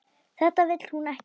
Þetta vill hún ekki.